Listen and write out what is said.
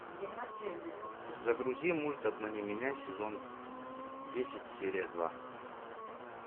загрузи мульт обмани меня сезон десять серия два